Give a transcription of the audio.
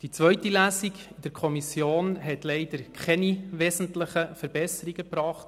Die zweite Lesung in der Kommission hat leider keine wesentlichen Verbesserungen gebracht.